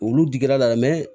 Olu digir'a la